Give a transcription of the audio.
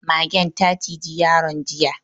Magen ta ciji yaron jiya.